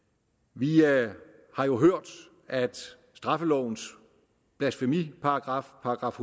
vi har jo hørt at straffelovens blasfemiparagraf §